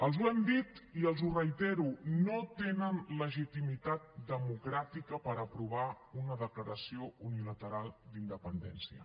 els ho hem dit i els ho reitero no tenen legitimitat democràtica per aprovar una declaració unilateral d’independència